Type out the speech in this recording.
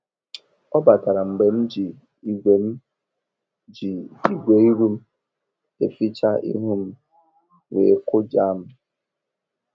Ọ batara mgbe m ji igwe m ji igwe iru eficha ihu m, wee kụjaa m.